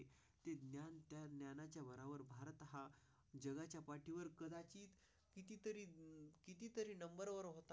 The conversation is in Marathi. तरी नंबरवर होती तरी नंबरवर.